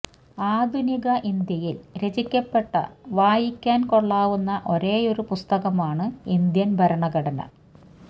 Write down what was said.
ആധുനിക ഇന്ത്യയില് രചിക്കപ്പെട്ട വായിക്കാന് കൊള്ളാവുന്ന ഒരേയൊരു പുസ്തകമാണ് ഇന്ത്യന് ഭരണഘടന